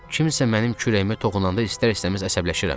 Kimsə mənim kürəyimə toxunanda istər-istəməz əsəbləşirəm.